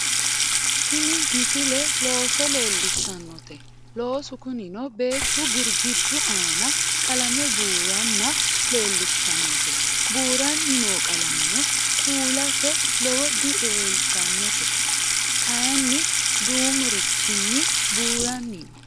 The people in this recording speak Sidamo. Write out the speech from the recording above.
tini misile looso leellishshannote loosu kunino beettu girggiddu aana qalame buuranna leellishshannote buuranni noo qalameno kuulase lowo dileeltannote kayeenni duumurichinni buuranni no